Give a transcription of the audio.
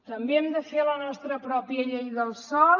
també hem de fer la nostra pròpia llei del sòl